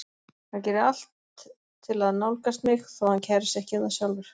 Hann gerir allt til að nálgast mig þótt hann kæri sig ekki um það sjálfur.